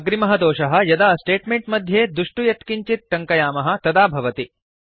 अग्रिमः दोषः यदा स्टेट्मेंट् मध्ये दुष्ट यत्किञ्चित् टङ्कयामः तदा भवति